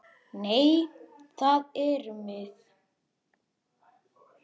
Nei, það erum við.